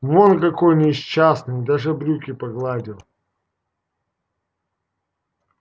вон какой несчастный и даже брюки погладил